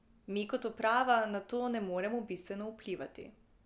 Mi kot uprava na to ne moramo bistveno vplivati.